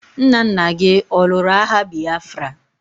Nna nna gi ọ lụrụ agha Bịafra?